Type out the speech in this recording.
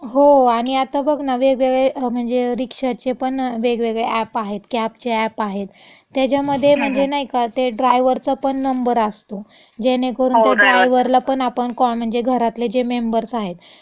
हो. आणि आता बघ ना वेगवेगळे म्हणजे रिक्षाचेपण वेगवेगळे अॅप आहेत, कॅबचे अॅप आहेत. त्याच्यामधे म्हणजे, नाई का, ते ड्रायवरचापण नंबर असतो ज्यानेकरून त्या ड्रायवरलापण आपण कॉ, म्हणजे घरातले जे मेंबर्स आहेत, हम्म. हो ड्रायवर.